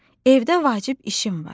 Evdə vacib işim var.